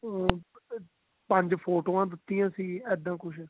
ਹਮ ਪੰਜ ਫੋਟੋਆਂ ਦਿੱਤੀਆਂ ਸੀ ਇਦਾਂ ਕੁਛ